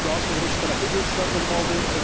Daha sonra ikitərəfli görüşlər olmalıdır.